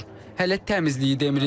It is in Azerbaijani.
Hələ təmizliyi demirik.